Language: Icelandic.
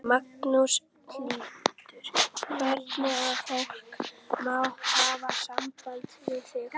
Magnús Hlynur: Þannig að fólk má hafa samband við þig?